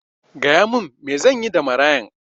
Gaya min me zanyi da marayan